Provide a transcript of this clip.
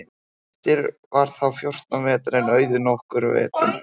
Grettir var þá fjórtán vetra en Auðunn nokkrum vetrum eldri.